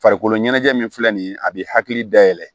Farikolo ɲɛnajɛ min filɛ nin ye a bi hakili dayɛlɛ